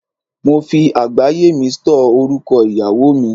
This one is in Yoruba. Mo fi àgbáyé mi stọ́ọ̀ orúkọ ìyàwó mi.